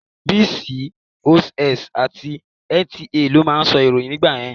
Bcos àti NTA ló máa ń sọ ìròyìn dáadáa nígbà yẹn.